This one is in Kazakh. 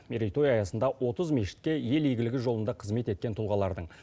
мерейтой аясында отыз мешітке ел игілігі жолында қызмет еткен тұлғалардың